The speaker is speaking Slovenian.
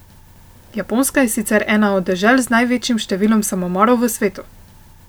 Japonska je sicer ena od dežel z največjim številom samomorov v svetu.